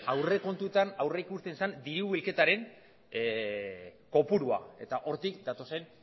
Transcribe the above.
aurrekontuetan aurrikusten zen dirubilketaren kopurua eta hortik datozen